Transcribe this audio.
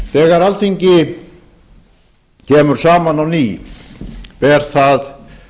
þegar alþingi kemur saman á ný ber það